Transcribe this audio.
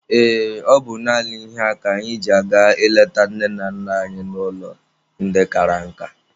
Ee, ọ bụ naanị ihe a ka anyị ji aga ịleta nne na nna anyị n'ụlọ ndị kara nka.